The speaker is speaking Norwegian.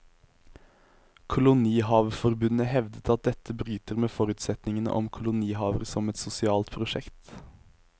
Kolonihaveforbundet hevder at dette bryter med forutsetningene om kolonihaver som et sosialt prosjekt.